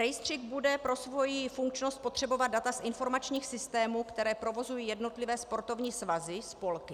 Rejstřík bude pro svoji funkčnost potřebovat data z informačních systémů, které provozují jednotlivé sportovní svazy, spolky.